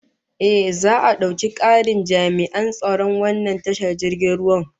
Ehh, za'a dauki karin jami'an tsaron wannan tashar jirgin ruwan